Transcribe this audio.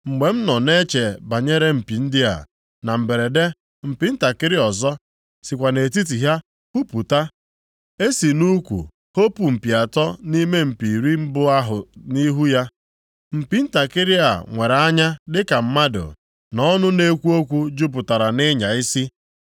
“Mgbe m nọ na-eche banyere mpi ndị a, na mberede mpi ntakịrị ọzọ sikwa nʼetiti ha pupụta. E si nʼukwu hopu + 7:8 Ya bụ, nyakapụ mpi atọ nʼime mpi iri mbụ ahụ nʼihu ya. + 7:8 Ime ka mpi ntakịrị a nweta ohere ebe ọ ga-esi pụta. Mpi ntakịrị a nwere anya dịka mmadụ, na ọnụ na-ekwu okwu jupụtara nʼịnya isi.